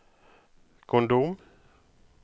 kondom